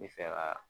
N bɛ fɛ ka